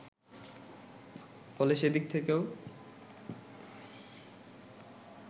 ফলে সে দিক থেকেও